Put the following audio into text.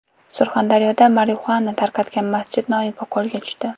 Surxondaryoda marixuana tarqatgan masjid noibi qo‘lga tushdi.